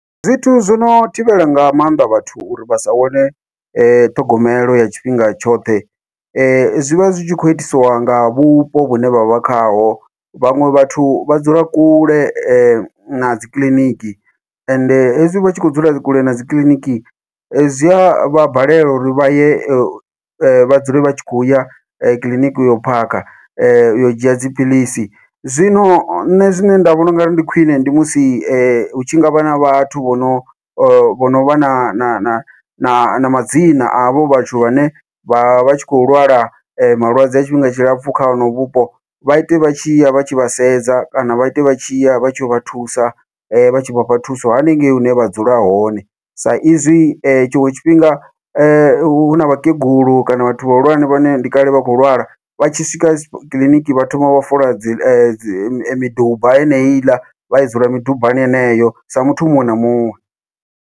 Zwithu zwono thivhela nga maanḓa vhathu uri vha sa wane ṱhogomelo ya tshifhinga tshoṱhe, zwi vha zwi tshi kho itisiwa nga vhupo vhune vhavha khaho vhaṅwe vhathu vha dzula kule na dzikiḽiniki ende hezwi vhatshi kho dzula kule na dzikiḽiniki, zwi a vha balelwa uri vhaye vha dzule vha tshi khou ya kiḽiniki uyo phakha uyo dzhia dziphilisi. Zwino nṋe zwine nda vhona ungari ndi khwiṋe ndi musi hu tshi ngavha na vhathu vho no vho novha na na na na madzina avho vhathu vhane vha vha tshi khou lwala malwadze a tshifhinga tshilapfhu kha honovho vhupo, vha ite vha tshi ya vha tshi vha sedza kana vha ite vha tshi ya vha tshi vha thusa vha tshi vha fha thuso haningei hune vha dzula hone, sa izwi tshiṅwe tshifhinga huna vhakegulu kana vhathu vhahulwane vhane ndi kale vha khou lwala vha tshi swika kiḽiniki vha thoma vha fola dzi miduba yeneyi iḽa vha dzula midubani heneyo sa muthu muṅwe na muṅwe.